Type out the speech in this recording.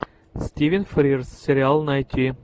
стивен фрирс сериал найти